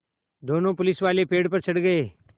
दोनों पुलिसवाले पेड़ पर चढ़ गए